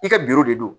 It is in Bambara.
I ka biro de don